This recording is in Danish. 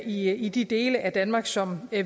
i i de dele af danmark som